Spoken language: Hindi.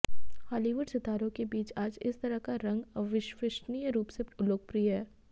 हॉलीवुड सितारों के बीच आज इस तरह का रंग अविश्वसनीय रूप से लोकप्रिय है